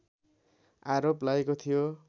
आरोप लागेको थियो